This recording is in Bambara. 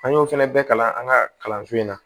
An y'o fɛnɛ bɛɛ kalan an ka kalanso in na